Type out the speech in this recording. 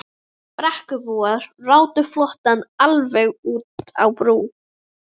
Brekkubúar ráku flóttann alveg út á brú.